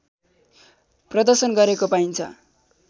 प्रदर्शन गरेको पाइन्छ